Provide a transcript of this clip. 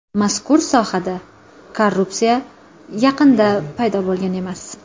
Mazkur sohada korrupsiya yaqinda paydo bo‘lgan emas.